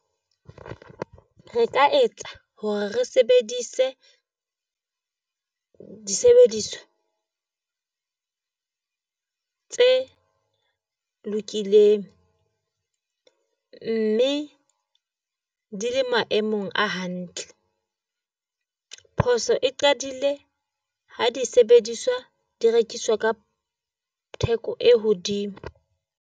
Re ka etsa hore re sebedise disebediswa tse lokileng mme di le maemong a hantle. Phoso e qadile ha di sebediswa di rekiswa ka theko e hodimo.